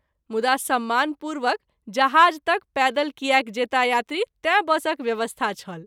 मुदा सम्मान पूर्वक जहाज तक पैदल कियाक जेताह यात्री तैँ बसक व्यवस्था छल।